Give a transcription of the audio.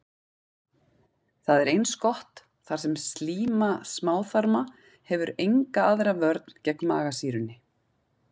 Það er eins gott, þar sem slíma smáþarma hefur enga aðra vörn gegn magasýrunni.